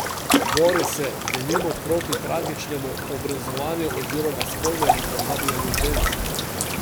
Bori se, denimo, proti tragičnemu obrezovanju oziroma spolnemu pohabljanju žensk.